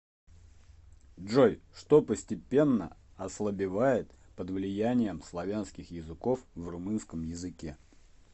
джой что постепенно ослабевает под влиянием славянских языков в румынском языке